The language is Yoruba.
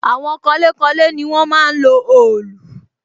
Àwọn kanlé kanlé ni wọ́n máa ń lo òòlù